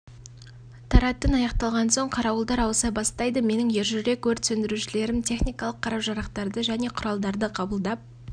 таратын аяқталған соң қарауылдар ауыса бастайды менің ержүрек өрт сөндірушілерім техникалық қару-жарақтарды және құралдарды қабылдап